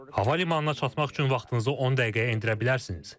Hava limanına çatmaq üçün vaxtınızı 10 dəqiqəyə endirə bilərsiniz.